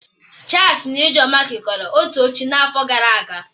Charlie na Ijeoma kekọrọ otu oche n'afọ gara aga